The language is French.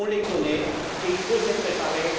On les connaît et il faut se préparer.